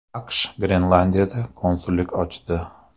AQSh Grenlandiyada konsullik ochdi.